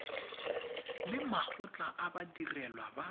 le makgotla a badirelwa ba